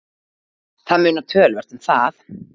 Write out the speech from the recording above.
Það munar töluvert um það.